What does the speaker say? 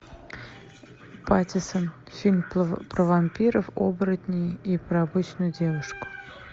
патиссон фильм про вампиров оборотней и про обычную девушку